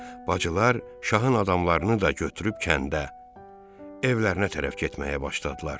Bacılar şahın adamlarını da götürüb kəndə evlərinə tərəf getməyə başladılar.